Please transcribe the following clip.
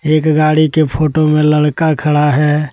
एक गाड़ी के फोटो में लड़का खड़ा है।